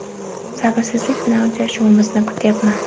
Sabrsizlik bilan uchrashuvimizni kutyapman.